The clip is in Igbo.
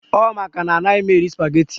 Ọ maka na anaghị m eri spageti